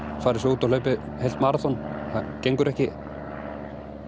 farið svo út og hlaupið heilt maraþon það gengur ekki